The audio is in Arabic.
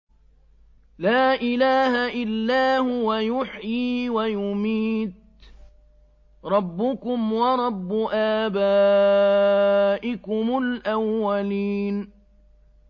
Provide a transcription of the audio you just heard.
لَا إِلَٰهَ إِلَّا هُوَ يُحْيِي وَيُمِيتُ ۖ رَبُّكُمْ وَرَبُّ آبَائِكُمُ الْأَوَّلِينَ